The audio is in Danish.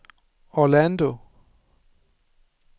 Orlando